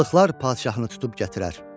Balıqlar padşahını tutub gətirər.